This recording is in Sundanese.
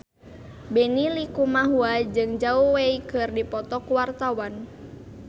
Benny Likumahua jeung Zhao Wei keur dipoto ku wartawan